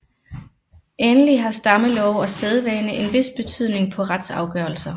Endelig har stammelove og sædvane en vis betydning på retsafgørelser